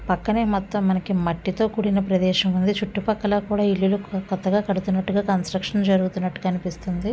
పక్కనే మొత్తం మనకి మట్టితో కూడిన ప్రదేశం ఉంది. చుట్టూ పక్కల కూడా ఇల్లులు కొత్తగా కడుతున్నట్టుగా కన్స్ట్రక్షన్ జరుగుతున్నట్టుగా కనిపిస్తుంది.